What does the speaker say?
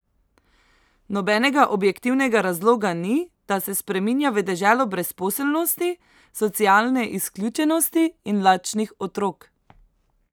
Nobenega objektivnega razloga ni, da se spreminja v deželo brezposelnosti, socialne izključenosti in lačnih otrok!